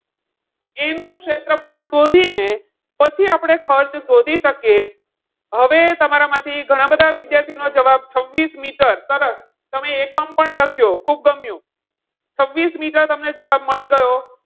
એનું ક્ષેત્રફળ શોધીને પછી જ આપણે ખર્ચ શોધી શકીએ. હવે તમારામાંથી ઘણા બધા વિદ્યાર્થીઓનો જવાબ છવ્વીસ મીટર સરસ તમે એકમ પણ લખ્યો ખૂબ ગમ્યું. છવ્વીસ મીટર તમને જવાબ મળી ગયો.